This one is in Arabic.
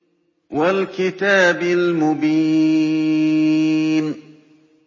وَالْكِتَابِ الْمُبِينِ